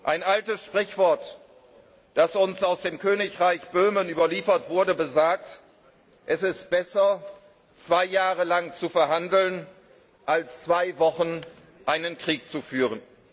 Ein altes Sprichwort, das uns aus dem Königreich Böhmen überliefert wurde, besagt Es ist besser, zwei Jahre lang zu verhandeln, als zwei Wochen einen Krieg zu führen.